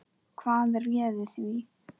Hvað réði því?